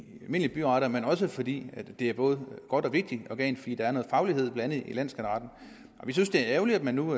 almindelige byretter men også fordi det er et både godt og vigtigt organ fordi der er noget faglighed i landsskatteretten vi synes det er ærgerligt at man nu